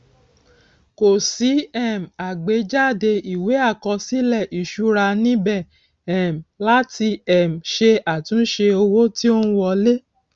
kò sí um àgbéjáde ìwé àkọsílẹ ìṣúra níbẹ um láti um ṣe àtúnṣe owó tí ó n wọlé